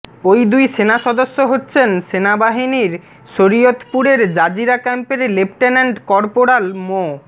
ওই দুই সেনা সদস্য হচ্ছেন সেনাবাহিনীর শরীয়তপুরের জাজিরা ক্যাম্পের লেফটেন্যান্ট করপোরাল মো